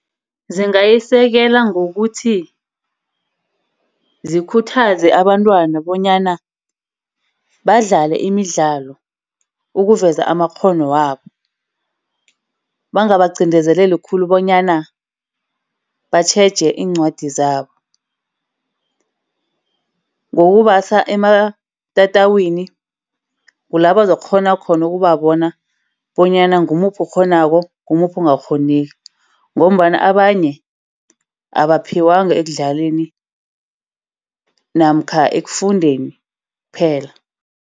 Zingayisekela ngokuthi zikhuthaze abantwana bonyana badlale imidlalo, ukuveza amakghono wabo. Bangabaqindezeleli khulu bonyana batjheje iincwadi zabo. Ngokubasa ematatawini kulabazokukghona khona ukubabona bonyana ngumuphi ekghonako ngumuphi ongakghoniko. Ngombana abanye abaphiwanga ekudlaleni namkha ekufundeni kuphela.